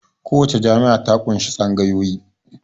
Kowace jami'a ta ƙunshi tsangayoyi